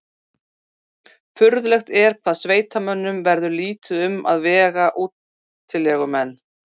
Furðulegt er hvað sveitamönnum verður lítið um að vega útilegumenn.